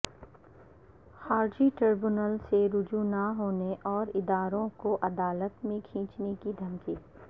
خارجی ٹریبونل سے رجوع نہ ہونے اور اداروں کو عدالت میں کھینچنے کی دھمکی